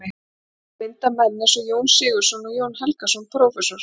Til að mynda menn eins og Jón Sigurðsson og Jón Helgason prófessor.